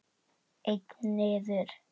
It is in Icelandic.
Einn niður.